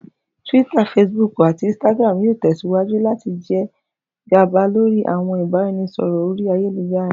Twitter, Facebook, ati Instagram yoo tẹsiwaju lati jẹ gaba lori awọn ibaraẹnisọrọ ori ayelujara